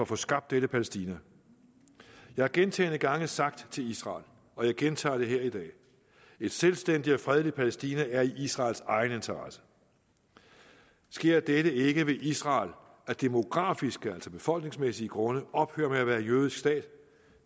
få skabt dette palæstina jeg har gentagne gange sagt til israel og jeg gentager det her i dag at et selvstændigt og fredeligt palæstina er israels egen interesse sker dette ikke vil israel af demografiske altså befolkningsmæssige grunde ophøre med at være en jødisk stat